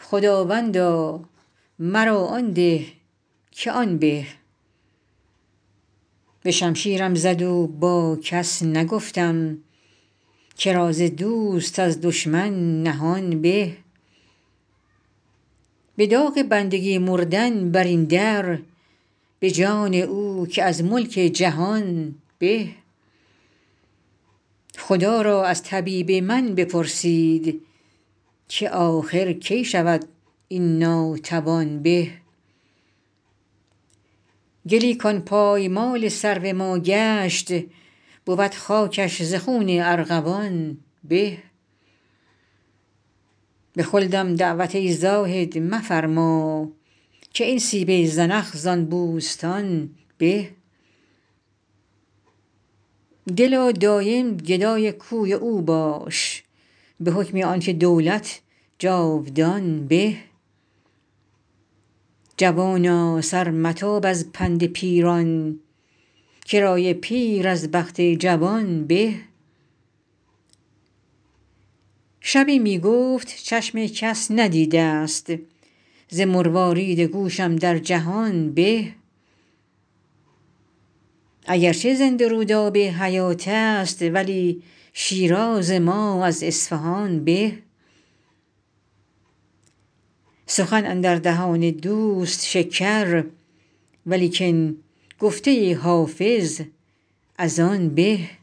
خداوندا مرا آن ده که آن به به شمشیرم زد و با کس نگفتم که راز دوست از دشمن نهان به به داغ بندگی مردن بر این در به جان او که از ملک جهان به خدا را از طبیب من بپرسید که آخر کی شود این ناتوان به گلی کان پایمال سرو ما گشت بود خاکش ز خون ارغوان به به خلدم دعوت ای زاهد مفرما که این سیب زنخ زان بوستان به دلا دایم گدای کوی او باش به حکم آن که دولت جاودان به جوانا سر متاب از پند پیران که رای پیر از بخت جوان به شبی می گفت چشم کس ندیده ست ز مروارید گوشم در جهان به اگر چه زنده رود آب حیات است ولی شیراز ما از اصفهان به سخن اندر دهان دوست شکر ولیکن گفته حافظ از آن به